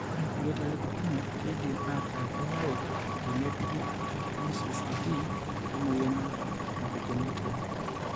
Ore kulie talip kumok keidim aataa keyau tenepuku ePCCD oemuoyian oltau econgenital.